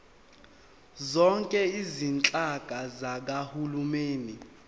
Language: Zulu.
zonke izinhlaka zikahulumeni